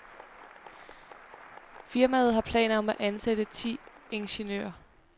Firmaet har planer om at ansætte ti ingeniører.